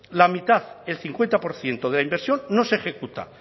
la mitad el cincuenta por ciento de la inversión no se ejecuta